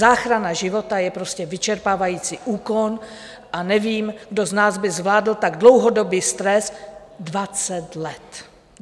Záchrana života je prostě vyčerpávající úkon a nevím, kdo z nás by zvládl tak dlouhodobý stres 20 let.